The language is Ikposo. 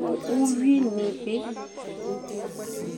nʋ uyuinɩ bɩ